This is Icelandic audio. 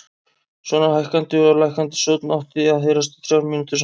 Svona hækkandi og lækkandi sónn átti að heyrast í þrjár mínútur samfleytt.